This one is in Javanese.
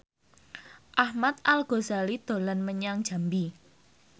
Ahmad Al Ghazali dolan menyang Jambi